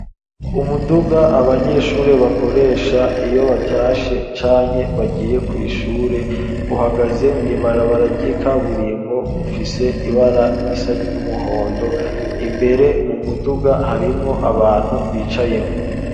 Umuduga abanyeshuri bakoresha iyo batashe canke bagiye kw'ishure uhagaze mw'ibarabara ry'ikaburimbo ufise ibara risa n'umuhondo imbere mu muduga harimwo abantu bicayemwo;